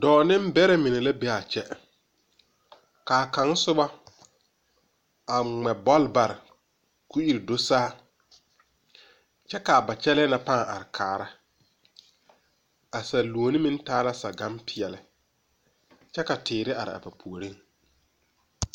Dɔɔ niŋbɛrɛ mine la beea kyɛ kaa kaŋ soba a ngmɛ bɔl bare ko ire do saa kyɛ kaa ba kyɛlɛɛ na pãã are kaara a saluone meŋ taa la sagan peɛɛli kyɛ ka teere araa ba puoriŋ.